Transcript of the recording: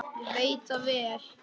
Ég veit það vel!